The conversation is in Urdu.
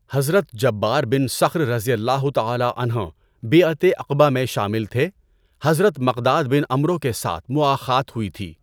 حضرت جبار بن صخر رضی اللہ تعالیٰ عنہ بیعتِ عقبہ میں شامل تھے، حضرت مقداد بن عَمرو کے ساتھ مؤاخات ہوئی تھی۔